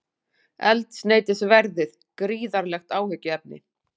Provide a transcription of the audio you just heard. Eldsneytisverðið gríðarlegt áhyggjuefni